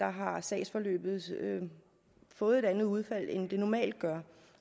har sagsforløbet fået et andet udfald end det normalt gør